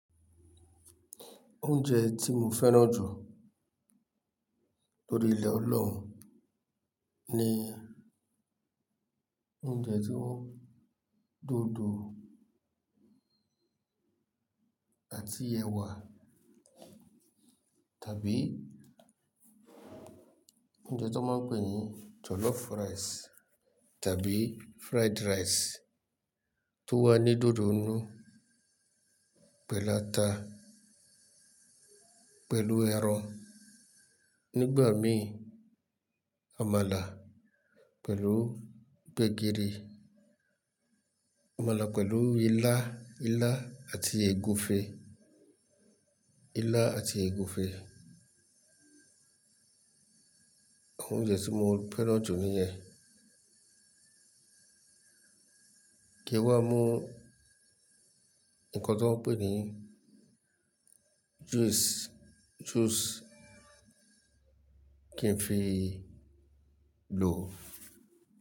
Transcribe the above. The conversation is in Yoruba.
Oúnjẹ tí mo fẹ́ràn jù órí ilẹ̀ Ọlọ́run ni oúnjẹ tí wọ́n dùn àti ẹwà tàbí oúnjẹ tí wọ́n ń pè ní jollof rice tàbí fried rice tó wà ní dodo inu pẹ̀lú ata, pẹ̀lú ẹran. Nígbà mí, àmàlà pẹ̀lú gbegiri, àmàlà pẹ̀lú ilá, ilá àti ègúfe, ilá àti ègúfe. Oúnjẹ tí mo fẹ́ràn jù ni yen. Kí ó wá mú nnkan tí wọ́n ń pè ní juice, juice kí n fi lò.